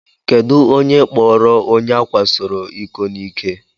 Kedụ onye kpọọrọ onye ákwásoro iko n'ike?